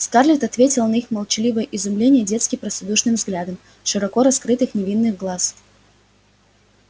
скарлетт ответила на их молчаливое изумление детски простодушным взглядом широко раскрытых невинных глаз